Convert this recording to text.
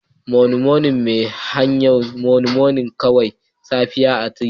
Monin monin mai siyar shaho monin monin kowace safiya a titina